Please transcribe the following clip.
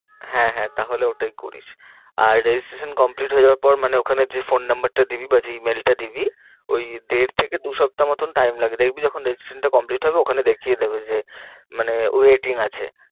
হ্যাঁ হ্যাঁ তাহলে ওটাই করিস আর registration complete হয়ে যাওয়ার পর মানে ওখানে যে phone number টা দিবি বা যে email টা দিবি। ওই দেড় থেকে দু সপ্তাহ মতন time লাগে দেখবি যখন registration টা complete হবে ওখানে দেখিয়ে দেবে যে মানে waiting আছে।